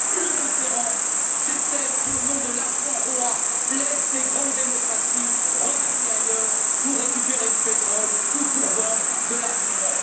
L'indifférence, c'est celle qui, au nom de l'argent roi, incite les grandes démocraties à regarder ailleurs pour récupérer du pétrole ou pour vendre de l'armement.